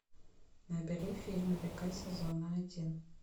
набери фильм река сезона один